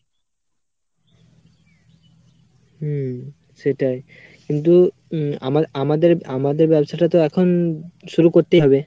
হম সেটাই কিন্তু উম আমার আমাদের আমাদের ব্যাবসাটাতো এখন শুরু করেতেই হবে